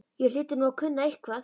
Ég hlyti nú að kunna eitthvað.